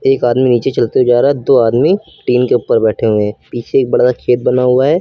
एक आदमी नीचे चलते जा रहा है दो आदमी टीन के ऊपर बैठे हुए पीछे एक बड़ा सा खेत बना हुआ है।